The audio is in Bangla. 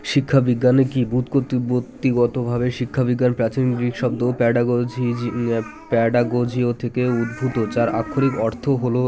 শিক্ষা বিজ্ঞানে কী বুৎ পত্তি বুৎপত্তিগত ভাবে শিক্ষা বিজ্ঞান প্রাচীন গ্রীক শব্দ pedagogy gy pedagogyo থেকে উদ্ভূত যার আক্ষরিক অর্থ হলো